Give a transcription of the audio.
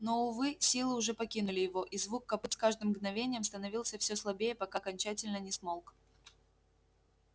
но увы силы уже покинули его и звук копыт с каждым мгновением становился все слабее пока окончательно не смолк